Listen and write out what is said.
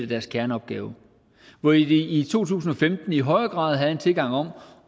deres kerneopgave hvor de i to tusind og femten i højere grad havde en tilgang om